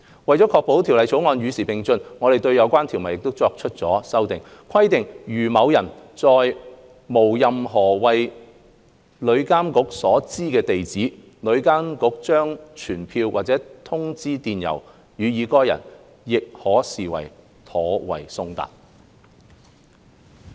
為了確保《條例草案》與時並進，我們對相關條文作出了修訂，規定如某人並無任何為旅監局所知的地址，旅監局將傳票或通知電郵予該人，亦可視作妥為送達。